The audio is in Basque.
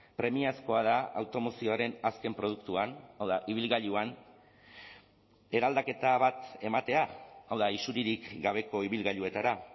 premiazkoa da automozioaren azken produktuan hau da ibilgailuan eraldaketa bat ematea hau da isuririk gabeko ibilgailuetara